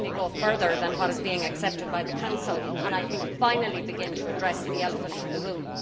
They certainly go further than what is being accepted by the Council and I think finally begin to address the elephant in the room.